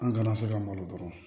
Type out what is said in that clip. An kana se ka malo dɔrɔn